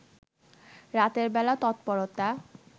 রাতের বেলা তৎপরতা